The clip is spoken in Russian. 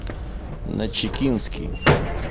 начикинский